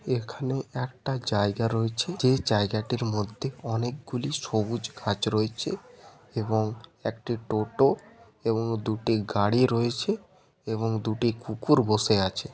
এখানে একটা জায়গা রয়েছে যে জায়গাটির মধ্যে অনেকগুলি সবুজ ঘাস রয়েছে এবং একটি টোটা এবং দুটি গাড়ি রয়েছে এবং দুটি কুকুর বসে আছে।